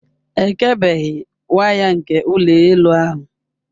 Ekebeghị waya nke ụlọ elu ahụ.